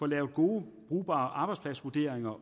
lavet gode og brugbare arbejdspladsvurderinger